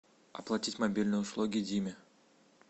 оплатить мобильные услуги диме